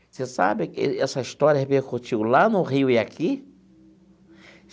Você sabe essa história repercutiu lá no Rio e aqui?